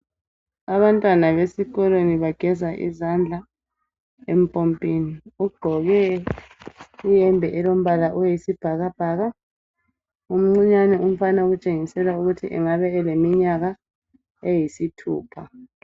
Abantwana besikolweni bageza izandla empompini. Ugqoke iyembe elombala oyisibhakabhaka. Umncinyane umfana okutshengisa ukuthi angaba eleminyaka eyisithupha.